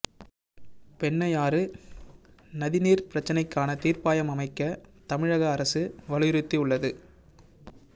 பெண்ணையாறு நதிநீர் பிரச்சனைக்கான தீர்ப்பாயம் அமைக்க தமிழக அரசு வலியுறுத்தி உள்ளது